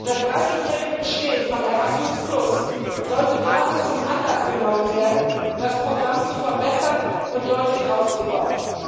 Das dreißigjährige Bestehen von Erasmus sollte daher zum Anlass genommen werden, das Programm zu verbessern und deutlich auszubauen.